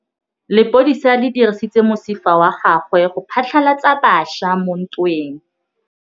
Lepodisa le dirisitse mosifa wa gagwe go phatlalatsa batšha mo ntweng.